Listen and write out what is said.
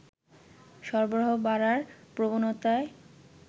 সরবরাহ বাড়ার প্রবণতায়